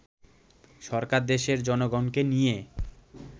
সরকার দেশের জনগণকে নিয়ে